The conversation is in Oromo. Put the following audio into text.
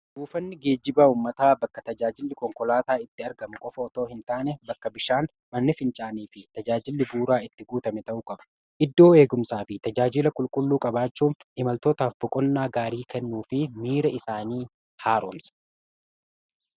Buufanni geejjibaa faayidaa madaalamuu hin dandeenye fi bakka bu’iinsa hin qabne qaba. Jireenya guyyaa guyyaa keessatti ta’ee, karoora yeroo dheeraa milkeessuu keessatti gahee olaanaa taphata. Faayidaan isaa kallattii tokko qofaan osoo hin taane, karaalee garaa garaatiin ibsamuu danda'a.